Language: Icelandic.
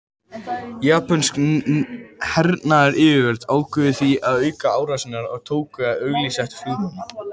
Japönsk hernaðaryfirvöld ákváðu því að auka árásirnar og tóku að auglýsa eftir flugmönnum.